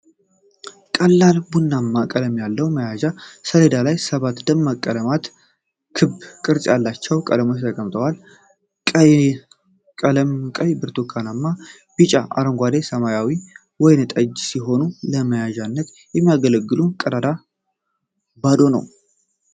ቀላል ቡናማ ቀለም መያዣ ሰሌዳ ላይ ሰባት ደማቅ ቀለማት ክብ ቅርጽ ያላቸው ቀለሞች ተቀምጠዋል። ቀለሞቹ ቀይ፣ ብርቱካናማ፣ ቢጫ፣ አረንጓዴ፣ ሰማያዊና ወይን ጠጅ ሲሆኑ፤ ለመያዣነት የሚያገለግለው ቀዳዳው ባዶ ነዉ።